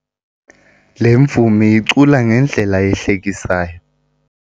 Le mvumi icula ngendlela ehlekisayo.